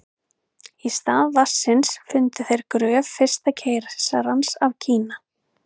í stað vatnsins fundu þeir gröf fyrsta keisarans af kína